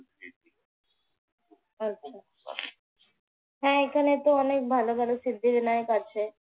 হ্যাঁ আচ্ছা আচ্ছা, এখানে অনেক ভালো ভালো নায়ক আসে।